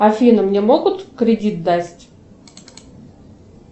афина мне могут кредит дать